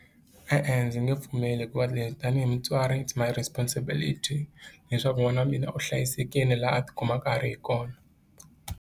E-e, ndzi nge pfumeli hikuva leswi tanihi mutswari it's my responsibility leswaku n'wana wa mina u hlayisekile laha a tikumaka a ri hi kona.